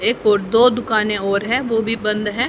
एक ओर दो दुकानें और हैं वो भीं बंद हैं।